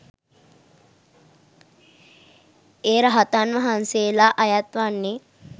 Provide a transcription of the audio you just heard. ඒ රහතන් වහන්සේලා අයත් වන්නේ